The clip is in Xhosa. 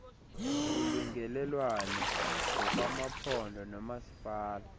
ulungelelwano ngokwamaphondo noomasipala